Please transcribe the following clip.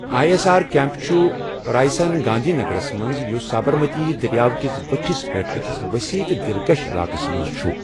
I S R camp چھُ رایسان، گاندھی نگرس منٛز، یُس سابرمتی دٔریاوٕ کِس بٔٹھِس پٮ۪ٹھ أکِس ؤسیع تہٕ دِلکش علاقَس منٛز چھُ ۔